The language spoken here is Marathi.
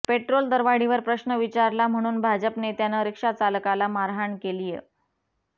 पेट्रोल दरवाढीवर प्रश्न विचारला म्हणून भाजप नेत्यानं रिक्षाचालकाला मारहाण केलीय